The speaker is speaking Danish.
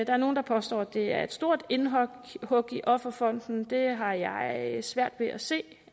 er nogle der påstår at det er et stort indhug i offerfonden det har jeg svært ved at se